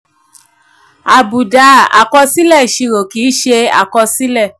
àbùdá: àkọsílẹ̀ ìṣirò kì í ṣe àkọsílẹ̀.